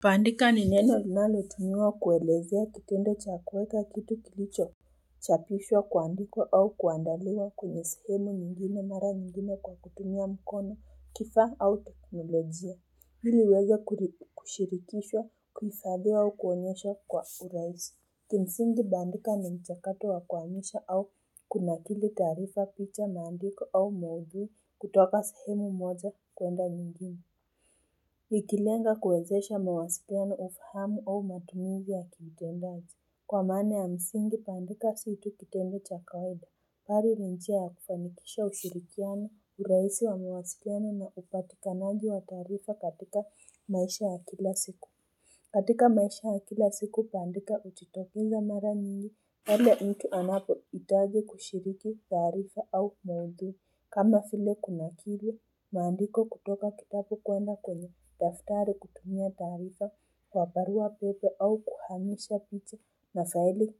Kuandika ni neno linalotumiwa kuelezea kitendo cha kuweka kitu kilichoChapishwa kuandikwa au kuandaliwa kwenye sehemu nyingine mara nyingine kwa kutumia mkono kifaa au teknolojia ili liweze kushirikishwa kuhifadhiwa au kuonyesha kwa urahisi Kimsingi bandika ni mchakato wa kuhamisha au kunakili taarifa picha maandiko au maudhui kutoka sehemu moja kwenda nyingine Nikilenga kuwezesha mawasiliano ufahamu au matumizi ya kitendaji. Kwa maana ya msingi kuandika si tu kitendo cha kawaida. Mbali ni njia ya kufanikisha ushirikiano urahisi wa mawasiliano na upatikanaji wa taarifa katika maisha ya kila siku. Katika maisha ya kila siku kuandika hujitokeza mara nyingi pale mtu anapohitaji kushiriki taarifa au maudhui. Kama vile kunakili maandiko kutoka kitabu kwenda kwenye. Daftari kutumia taarifa kwa barua pepe au kuhamisha picha na faili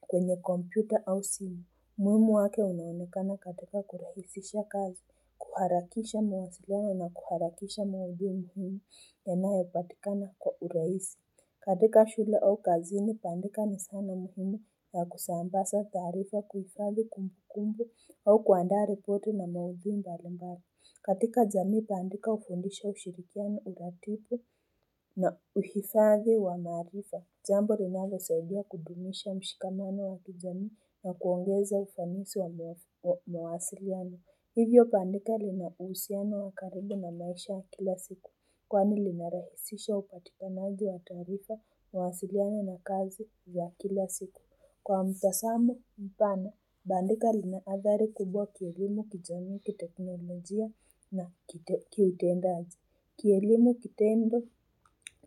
kwenye kompyuta au simu. Umuhimu wake unaonekana katika kurahisisha kazi, kuharakisha mawasiliano na kuharakisha maudhui muhimu, yanayo patikana kwa urahisi katika shule au kazini, kuandika ni zana muhimi ya kusambaza taarifa kuhifadhi kumbukumbu au kuandaa ripoti na maudhui mbalimbali katika jamii kuandika hufundisha ushirikiano uratibu na uhifadhi wa maarifa Jambo linalo saidia kudumisha mshikamano wa kijamii na kuongeza ufanisi wa mawasiliano Hivyo bandika linahusiano wa karibu na maisha ya kila siku Kwani linarahisisha upatikanaji wa taarifa mawasiliano na kazi ya kila siku Kwa mtazamo mpana Bandika lina athari kubwa kielimu kijami kiteknolojia na kiutendaji. Kielimu kitendo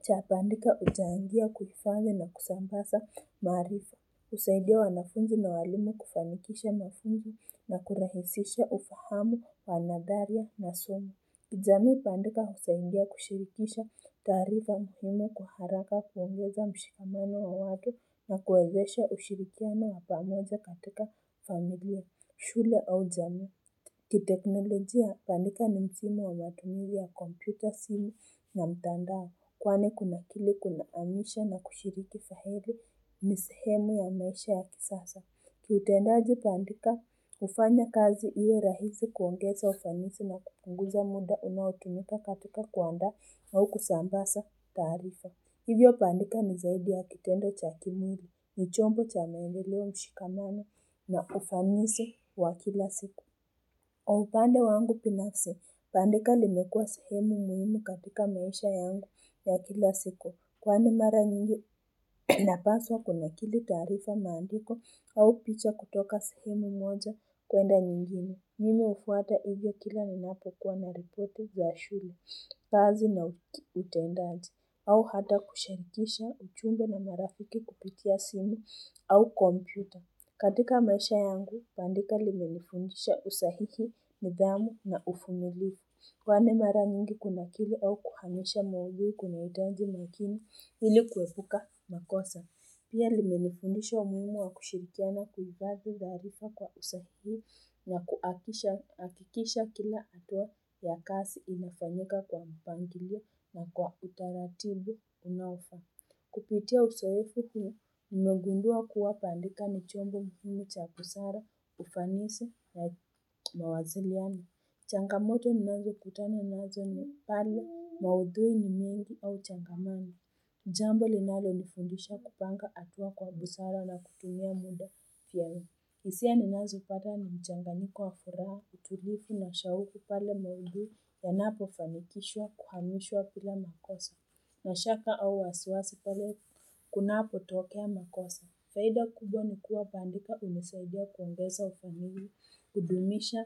cha bandika huchangia kufanya na kusambaza maarifa. Husaidia wanafunzi na walimu kufanikisha mofimu na kurahisisha ufahamu wa methali na semi. Kijamii bandika husaidia kushirikisha taarifa muhimu kwa haraka kuongeza mshikamano wa watu na kuwezesha ushirikiano wa pamoja katika familia, shule au jamii. Kiteknolojia, bandika ni mfumo wa matumizi ya kompyuta simu na mtandao kwani kunakili kunahamisha na kushiriki fahari ni sehemu ya maisha ya kisasa. Kiutendaji bandika, hufanya kazi iwe rahisi kuongeza ufanisi na kupunguza muda unaotumika katika kuandaa au kusambaza taarifa. Hivyo bandika ni zaidi ya kitendo cha kildiji, ni chombo cha maendeleo mshikamano na ufanisi wa kila siku. Kwa upande wangu binafsi, bandika limekua sehemu muhimu katika maisha yangu ya kila siku. Kwani mara nyingi napaswa kunakili taarifa maandiko au picha kutoka sehemu moja kwenda nyingine. Mimi hufuata hivyo kila ninapokuwa na ripoti ya shule, kazi na utendanji, au hata kushirikisha ujumbe na marafiki kupitia simu au kompyuta. Katika maisha yangu, bandika limenifundisha usahihi, nidhamu na uvumilivu. Kwani mara nyingi kunakili au kukanusha maudhui kunahitaji umakini, ili kuepuka makosa. Pia limenifundisha umuhimu wa kushirikiana kuhifadhi taarifa kwa usahihi na kuhakikisha kila hatua ya kazi imefanyika kwa mpangilio na kwa utaratibu unaofaa. Kupitia uzoefu huu, nimegundua kuwa bandika ni chombo muhimi cha usawa, ufanisi, na mawasiliano Changamoto ninazokutana nazo ni pale, maudhui ni mengi au changamano. Jambo linalonifundisha kupanga hatua kwa busara na kutumia muda wangu hisia ninazopata ni mchanganyiko wa furaha, utulivu na ushauri pale maudhui yanapofanikishwa kuhamishwa bila makosa nina shaka au wasiwasi pale kunapotokea makosa faida kubwa ni kuwa bandika hunisaidia kuongeza ufamili, kudumisha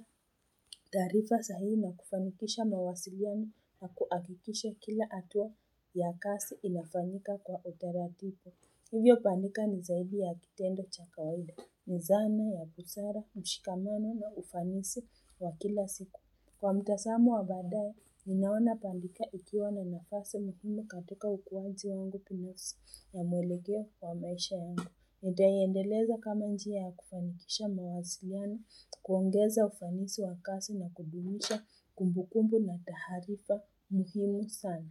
taarifa sahihi na kufanikisha mawasiliano na kuhakikisha kila hatua ya kazi inafanyika kwa utaratibu hiyo bandika ni zaidi ya kitendo cha kawaida, ni zani, ya busara, mshikamano na ufanisi wa kila siku. Kwa mtazamo wa baadaya, ninaona bandika ikiwa na nafasi muhimu katika ukuaji wangu binafsi na mwelekeo wa maisha yangu. Nitaiendeleza kama njia ya kufanikisha mawasiliano, kuongeza ufanisi wa kazi na kudumisha kumbukumbu na taarifa muhimu sana.